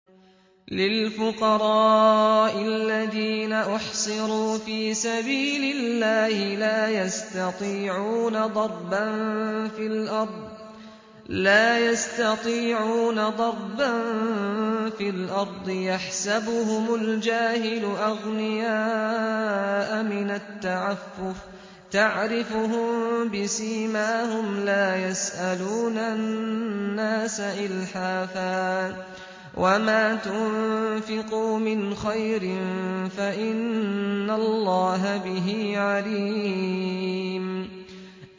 لِلْفُقَرَاءِ الَّذِينَ أُحْصِرُوا فِي سَبِيلِ اللَّهِ لَا يَسْتَطِيعُونَ ضَرْبًا فِي الْأَرْضِ يَحْسَبُهُمُ الْجَاهِلُ أَغْنِيَاءَ مِنَ التَّعَفُّفِ تَعْرِفُهُم بِسِيمَاهُمْ لَا يَسْأَلُونَ النَّاسَ إِلْحَافًا ۗ وَمَا تُنفِقُوا مِنْ خَيْرٍ فَإِنَّ اللَّهَ بِهِ عَلِيمٌ